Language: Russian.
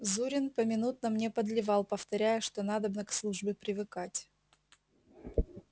зурин поминутно мне подливал повторяя что надобно к службе привыкать